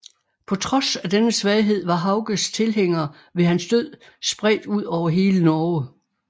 På trods af denne svaghed var Hauges tilhængere ved hans død spredt ud over hele Norge